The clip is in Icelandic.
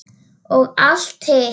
Og allt hitt.